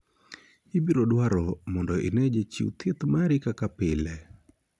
Ibirodwaro mondo inee jachiw thieth mari kaka pile.